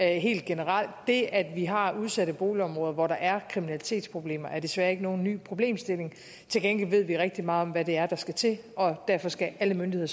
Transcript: helt generelt det at vi har udsatte boligområder hvor der er kriminalitetsproblemer er desværre ikke nogen ny problemstilling til gengæld ved vi rigtig meget om hvad der skal til og derfor skal alle myndigheder